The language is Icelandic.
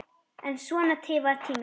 En svona tifar tíminn.